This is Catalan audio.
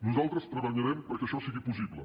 nosaltres treballarem perquè això sigui possible